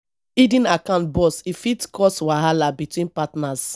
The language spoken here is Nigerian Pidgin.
hidden account burst e fit cause wahala between partners